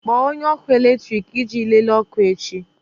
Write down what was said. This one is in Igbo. Kpọọ onye ọkụ eletrik iji lelee ọkụ echi!